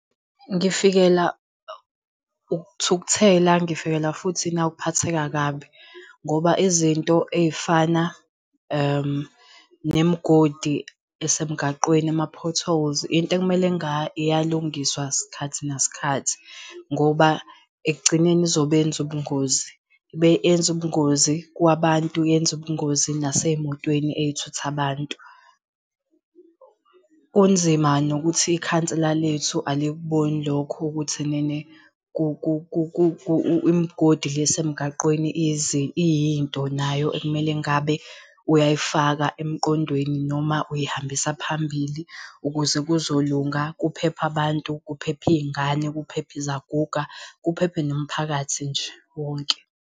Ngifikela ukuthukuthela, ngifikelwa futhi nawukuphatheka kabi ngoba izinto ey'fana nemigodi esemgaqweni, ama-potholes into ekumele iyalungiswa sikhathi nasikhathi. Ngoba ekugcineni izobenza ubungozi, yenze ubungozi kwabantu, yenze ubungozi nasey'motweni ey'thutha abantu. Kunzima nokuthi ikhansela lethu alikuboni lokho ukuthi enene imgodi le esemgaqweni iyinto nayo ekumele engabe uyayifaka emqondweni noma uyihambisa phambili ukuze kuzolunga kuphephe abantu, kuphephe iy'ngane, kuphephe izaguga, kuphephe nomphakathi nje wonke.